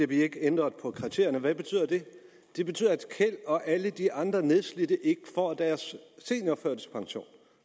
bliver ændret på kriterierne hvad betyder det det betyder at keld og alle de andre nedslidte ikke får deres seniorførtidspension